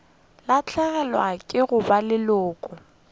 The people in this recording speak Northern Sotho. lahlegelwa ke go ba leloko